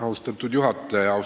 Austatud juhataja!